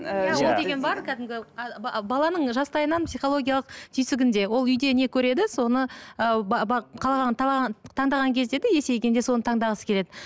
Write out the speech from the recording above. ол деген бар кәдімгі баланың жастайынан психологиялық түйсігінде ол үйде не көреді соны ы таңдаған кезде де есейгенде соны таңдағысы келеді